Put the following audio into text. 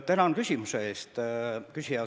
Tänan küsimuse eest, küsija!